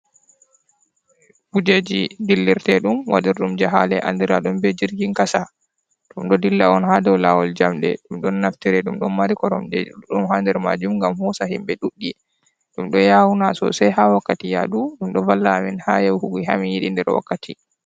Kujeji dillirte dum wadirdum je hale andiradum be jirgin kasa ,tom do dilla on ha do lawol jamde dum don naftire dum don mari koromje ɗuɗdum ha nder majum ngam hosa himbe duddi dum do yawuna sosai ha wakkati yadu dum do balla amin ha yahugi hami yidi nder wakkati.